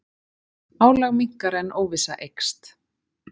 Álag minnkar en óvissa eykst